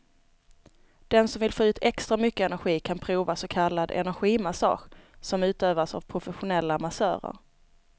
Den som vill få ut extra mycket energi kan prova så kallad energimassage, som utövas av professionella massörer.